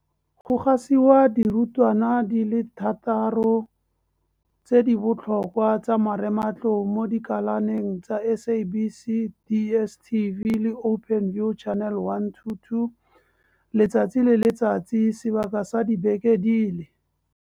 Jaaka karolo ya lenaane leno, go gasiwa dirutwana di le thataro tse di botlhokwa tsa marematlou mo dikalaneng tsa SABC, DSTV le Openview Channel 122 letsatsi le letsatsi sebaka sa dibeke di le.